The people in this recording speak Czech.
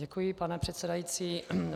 Děkuji, pane předsedající.